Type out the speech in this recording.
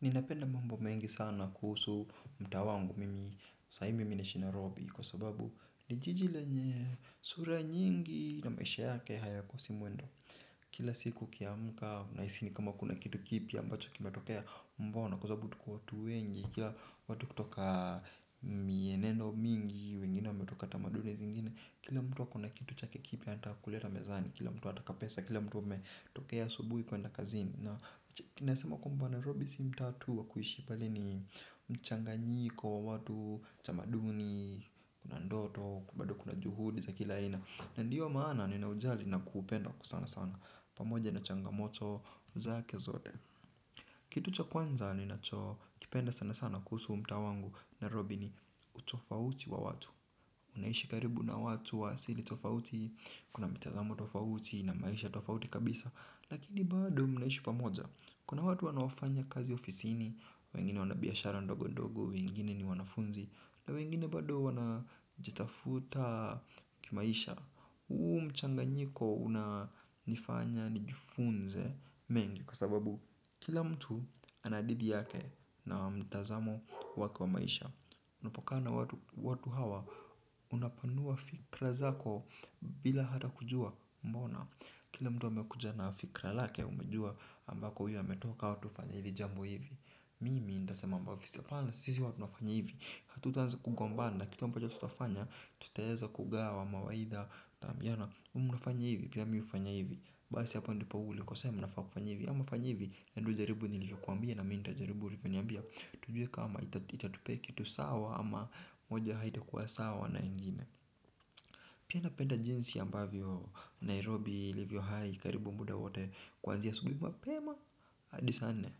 Ninapenda mambo mengi sana kuhusu mtaa wangu mimi sai mimi naishi nairobi kwa sababu ni jiji lenye sura nyingi na maisha yake hayakosi mwendo. Kila siku ukiamka unahisi ni kama kuna kitu kipya ambacho kimetokea mbona kwa sababu tuko watu wengi. Kila watu kutoka mienendo mingi, wengine wametoka tamaduni zingine, kila mtu ako na kitu chake kipi hata kuleta mezani, kila mtu anataka pesa, kila mtu ametokea asubuhi kwenda kazini. Na kinasema Nairobi si mtaa tu wa kuishi mbali ni mchanganyiko wa watu, tamaduni, kuna ndoto, bado kuna juhudi za kila aina. Na ndiyo maana ni na ujali na kuupenda kwa sana sana pamoja na changamoto zake zote. Kitu cha kwanza ninachokipenda sana sana kuhusu huu mtaa wangu nairobi ni utofauti wa watu naishi karibu na watu wa asili tofauti, kuna mitazamo tofauti na maisha tofauti kabisa. Lakini bado mnaishi pamoja, kuna watu wanaofanya kazi ya ofisiini, wengine wanabiashara ndogo ndogo, wengine ni wanafunzi. Na wengine bado wanajitafuta kimaisha, huu mchanganyiko unanifanya nijifunze mengi. Kwa sababu kila mtu anadidi yake na mtazamo wake wa maisha. Unapokaa na watu hawa unapanua fikra zako bila hata kujua mbona. Kila mtu wa amekuja na fikra lake umejua ambako huyo ametoka watu hufanya hili jambo hivi mimi ntasema ambavyo apana sisi watu nafanya hivi. Hatutaanza kugombana kitu ambacho tutafanya tutaeza kugawa mawaidha tutaambiana huwa mnafanya hivi pia mi hufanya hivi basi hapa ndipo ulikosea mnafaa kufanya hivi ama fanya hivi enda jaribu nilivyokuambia na mi ntajaribu ulivyoniambia. Tujue kama itatupe kitu sawa ama moja haitakuwa sawa na ingine. Pia napenda jinsi ambavyo Nairobi, ilivyohai, karibu muda wote kwanzia asubuhi mapema hadi saa nne,